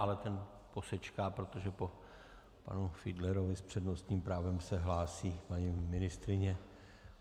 Ale ten posečká, protože po panu Fiedlerovi s přednostním právem se hlásí paní ministryně.